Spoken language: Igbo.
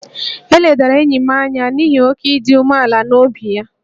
E ledara enyi m anya n’ihi oke ịdị umealan'obi ya